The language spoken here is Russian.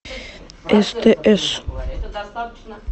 стс